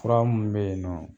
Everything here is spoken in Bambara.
Fura mun be yen nɔ